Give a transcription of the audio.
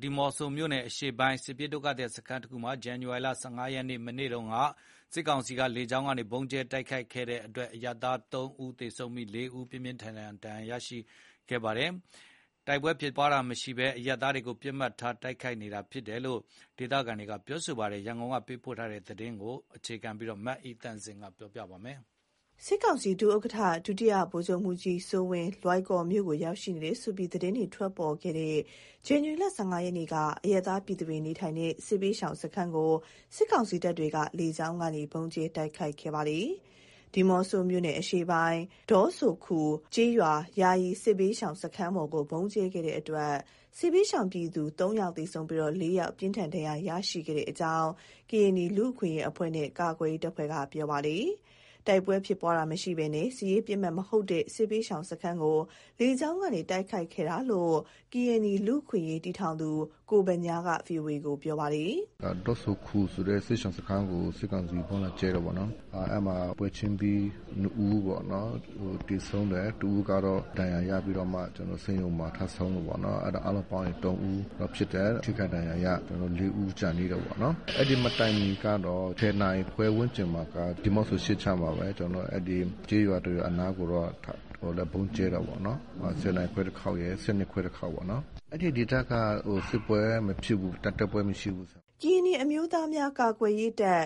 ဒီးမော့ဆိုမြို့နယ် အရှေ့ပိုင်း စစ်ရှောင်စခန်းတခုမှာ ဇန်နဝါရီလ ၁၅ ရက်နေ့ မနေ့က စစ်ကောင်စီတပ်က လေကြောင်းကနေ ဗုံးကြဲတိုက်ခိုက်တဲ့အတွက် အရပ်သား ၃ ဦး သေဆုံးပြီး ၄ ဦး ပြင်းပြင်းထန်ထန် ဒဏ်ရာရရှိခဲ့တ့အကြောင်း ကရင်နီလူ့အခွင့်အရေးအဖွဲ့နဲ့ ကာကွယ်ရေးတပ်ဖွဲ့က ဗွီအိုအေကို ပြောပါတယ်။ တိုက်ပွဲဖြစ်ပွားတာမရှိတဲ့နေရာတွေမှာ အရပ်သားတွေကို ပစ်မှတ်ထား ဗုံးကြဲနေတယ်ဆိုပြီး ဒေသခံတွေ စိုးရိမ် ထိတ်လန့်နေကြပါတယ်။ ဒီအကြောင်း နောက်ဆုံးရအခြေအနေကို သတင်းပေးပို့ထားပါတယ်။ စစ်ကောင်စီ ဒုဥက္ကဋ္ဌ ဒုတိယဗိုလ်ချုပ်မှူးကြီးစိုးဝင်း လွိုင်ကော်မြို့ကို ရောက်ရှိနေတယ်ဆိုပြီး သတင်းတွေ ထွက်ပေါ်ခဲ့တဲ့ ဇန္နဝါရီလ ၁၅ ရက်နေ့က အရပ်သားပြည်သူတွေ နေထိုင်တဲ့ စစ်ဘေးရှောင်စခန်းကို စစ်ကောင်စီတပ်က လေကြောင်းကနေ ဗုံးကြဲတိုက်ခိုက်ခဲ့ပါတယ်။ ဒီးမော့ဆိုမြို့နယ်အရှေ့ပိုင်း ဒေါဆိုခူကျေးရွာ ယာယီစစ်ဘေးရှောင်စခန်းပေါ်ကို ဗုံးကြဲခဲ့တဲ့အတွက် စစ်ဘေးရှောင်ပြည်သူ ၃ ဦး သေဆုံးပြီး ၄ ဦး ပြင်းထန်ဒဏ်ရာရရှိခဲ့တဲ့အကြောင်း ကရင်နီလူ့အခွင့်အရေးအဖွဲ့နဲ့ ကာကွယ်ရေးတပ်ဖွဲ့က ပြောပါတယ်။ တိုက်ပွဲဖြစ်ပွားတာမရှိဘဲ စစ်ရေးပစ်မှတ်မဟုတ်တဲ့ စစ်ဘေးရှောင်စခန်းကို လေကြောင်းကနေ တိုက်ခိုက်ခဲ့တာလို့ ကရင်နီလူ့အခွင့်အရေးတည်ထောင်သူ ကိုဗညားက ဗွီအိုအေကို ပြောပါတယ်။ “ဒေါဆိုခူဆိုတဲ့ စစ်ရှောင်စခန်းကို စစ်ကောင်စီက ဗုံးလာကြဲတယ်ပေါ့နော်။ အဲ့မှာ ပွဲချင်းပြီ ၂ဦးပေါ့နော် သေဆုံးတယ်၊ ၁ဦးကတော့ ဒဏ်ရာရပြီးတော့မှ ကျနော်တို့ ဆေးရုံမှာ ထပ်ဆုံးတယ်ပေါ့နော်၊ အားလုံးပေါင်းရင် ၃ဦးဖြစ်တယ်။ ထိခိုက်ဒဏ်ရာရ ၄ဦး ကျန်သေးတယ်ပေါ့နော်။ အဲ့ဒီမတိုင်မီကတော့ ၁၀နာရီခွဲဝန်းကျင်မှာ ဒီးမော့ဆို အရှေ့ခြမ်းမှာပဲ ကျေးရွာတစ်ရွာအနားကိုလည်း ဗုံးကြဲတယ်ပေါ့နော်။ ၁၀နာရီခွဲတစ်ခေါက်ရယ် ၁၂ခွဲတစ်ခေါက်ပေါ့နော်။ အဲ့ဒီဒေသက စစ်ပွဲမဖြစ်ဘူး။ တိုက်ပွဲမရှိဘူး။ ” ကရင်နီအမျိုးသားများကာကွယ်ရေးတပ်